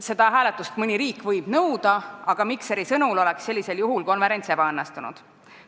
Seda hääletust võib mõni riik nõuda, aga Mikseri sõnul oleks sellisel juhul konverents ebaõnnestunud.